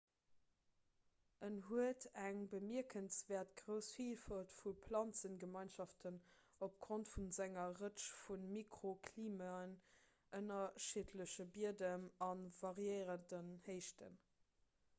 en huet eng bemierkenswäert grouss villfalt vu planzegemeinschaften opgrond vu senger rëtsch vu mikroklimaen ënnerschiddleche biedem an variérenden héichten